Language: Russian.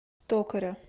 токаря